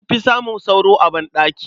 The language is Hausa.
An fi samun sauro a banɗaki.